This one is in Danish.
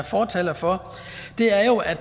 fortalere for er jo at